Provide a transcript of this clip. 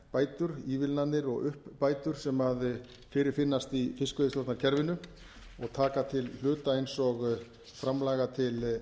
jöfnunarbætur ívilnanir og uppbætur sem fyrir finnast í fiskveiðistjórnarkerfinu og taka til hluta eins og framlaga til